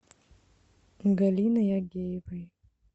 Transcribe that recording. галиной агеевой